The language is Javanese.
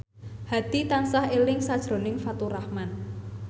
Hadi tansah eling sakjroning Faturrahman